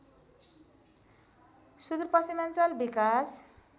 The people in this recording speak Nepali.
सुदुर पश्चिमाञ्चल विकास